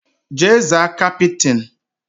Jee zaa kapịtịn!